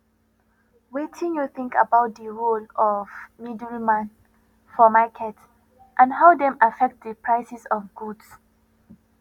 wetin you think about di role of middleman for market and how dem affect di prices of goods